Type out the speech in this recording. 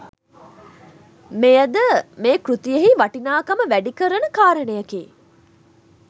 මෙයද මේ කෘතියෙහි වටිනාකම වැඩිකරන කාරණයකි.